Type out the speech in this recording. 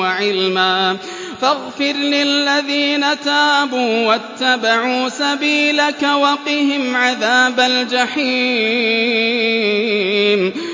وَعِلْمًا فَاغْفِرْ لِلَّذِينَ تَابُوا وَاتَّبَعُوا سَبِيلَكَ وَقِهِمْ عَذَابَ الْجَحِيمِ